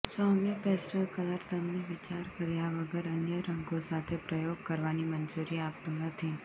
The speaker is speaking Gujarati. સૌમ્ય પેસ્ટલ કલર તમને વિચાર કર્યા વગર અન્ય રંગો સાથે પ્રયોગ કરવાની મંજૂરી આપતું નથી